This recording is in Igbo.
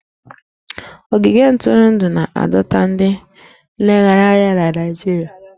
Ogige ntụrụndụ na-adọta ndị nlegharị anya na Naịjirịa